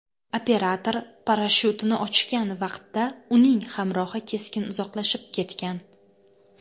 Operator parashyutini ochgan vaqtda, uning hamrohi keskin uzoqlashib ketgan.